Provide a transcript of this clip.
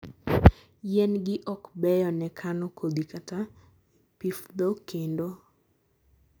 yien gi ok beyo ne kano kodhi kata pifdho kendo